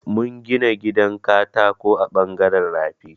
Mun gina gidan katako a ɓangaren rafi.